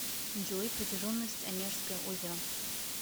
джой протяженность онежское озеро